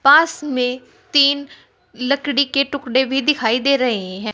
पास में तीन लकड़ी के टुकड़े भी दिखाई दे रहे हैं।